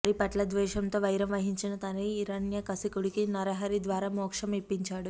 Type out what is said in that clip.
హరిపట్ల ద్వేషంతో వైరం వహించిన తండ్రి హిరణ్యకశిపుడికి నరహరి ద్వారా మోక్షం ఇప్పించాడు